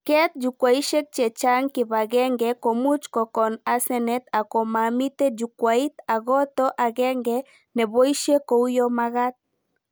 Keet Jukwaishek chechang kibagenge komuch kokon asenet ak komamite Jukwait akoto agenge neboishe kouyo magat